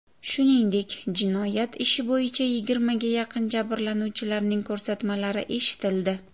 Shuningdek, jinoyat ishi bo‘yicha yigirmaga yaqin jabrlanuvchilarning ko‘rsatmalari eshitildi.